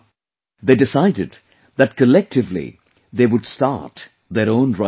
They decided that collectively they would start their own rice mill